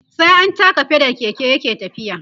sai an taka pedal Keke yake tafiya